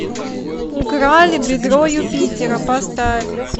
украли бедро юпитера поставь